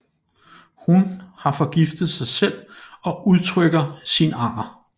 Hun har forgiftet sig selv og udtrykker sin anger